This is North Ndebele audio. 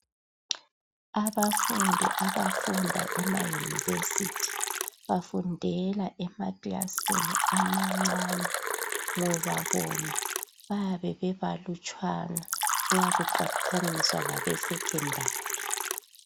Abafundi abafunda ema-University. Bafundela emakilasini amancane ngoba bona bayabe bebalutshwane nxa kuqathaniswa labe Secondary.